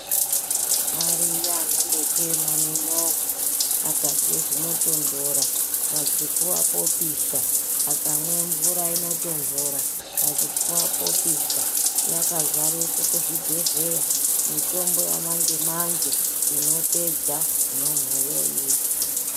Ariyo anongochena nenyongo akarya zvinotondora Pachipfuwa popisha akamwa mvura inotondora Pachipfuwa popisha akazaraa kuzvibhedhlera mitombo yamanje manje inopedza nyon'o iyoyo.